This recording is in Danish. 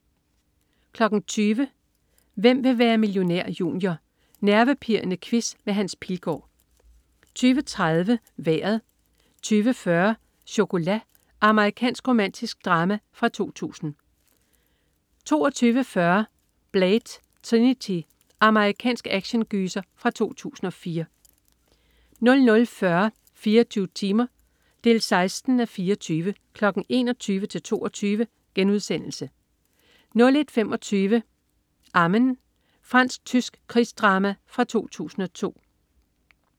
20.00 Hvem vil være millionær? Junior. Nervepirrende quiz med Hans Pilgaard 20.30 Vejret 20.40 Chocolat. Amerikansk romantisk drama fra 2000 22.40 Blade: Trinity. Amerikansk actiongyser fra 2004 00.40 24 timer 16:24.* 21:00-22:00 01.25 Amen. Fransk-tysk krigsdrama fra 2002